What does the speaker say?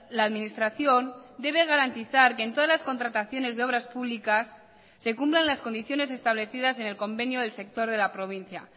la administración debe garantizar que en todas las contrataciones de obras públicas se cumplan las condiciones establecidas en el convenio del sector de la provincia